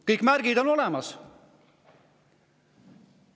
Kõik märgid sellest on olemas.